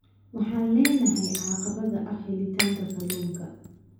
Waxaan leenahay caqabada ah helitaanka kalluunka.